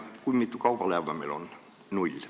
Kui mitu kaubalaeva meil on?